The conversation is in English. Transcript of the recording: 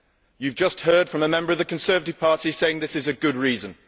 You have just heard from a member of the Conservative Party saying this is a good reason.